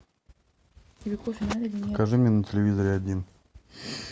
покажи мне на телевизоре один